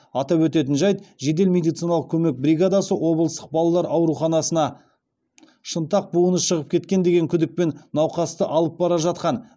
атап өтетін жайт жедел медициналық көмек бригадасы облыстық балалар ауруханасына шынтақ буыны шығып кеткен деген күдікпен науқасты алып бара жатқан